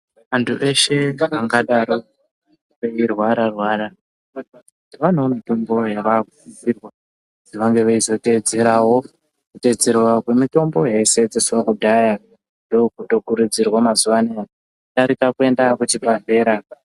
Antu eshe vangadaro veirwara-rwara vanewo mitombo yavakusisirwa kuzi vange veizoteedzerawo kumitombo yaishandiswa kudhaya ndokutokurudzirwa mazuwa anaya kudarika kuenda kuchibhehlera.